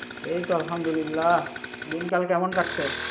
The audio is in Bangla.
এই তো আলহামদুলিল্লাহ, দিনকাল কেমন কাটসে?